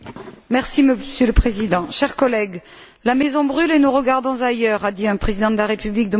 Monsieur le Président, chers collègues, la maison brûle et nous regardons ailleurs a dit un Président de la République de mon pays.